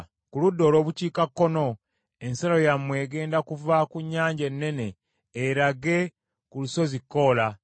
Ku ludda olw’obukiikakkono, ensalo yammwe egenda kuva ku Nnyanja Ennene erage ku Lusozi Koola;